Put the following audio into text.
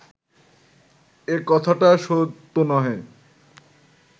এ কথাটা সত্য নহে